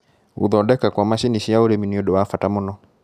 Gũthondeka kwa macini cia ũrĩmĩ nĩũndũ wa bata mũno.